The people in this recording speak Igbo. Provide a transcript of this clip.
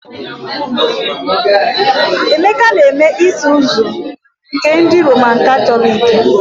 Emeka na-eme Isuzu nke ndị Roman Katọliki